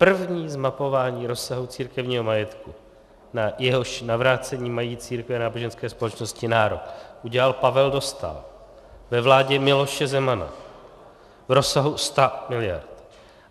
První zmapování rozsahu církevního majetku, na jehož navrácení mají církve a náboženské společnosti nárok, udělal Pavel Dostál ve vládě Miloše Zemana v rozsahu 100 miliard.